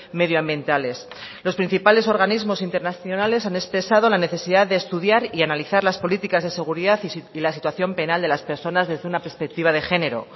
medioambientales los principales organismos internacionales han expresado la necesidad de estudiar y analizar las políticas de seguridad y la situación penal de las personas desde una perspectiva de género